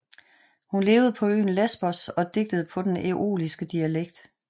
Hun levede på øen Lesbos og digtede på den æoliske dialekt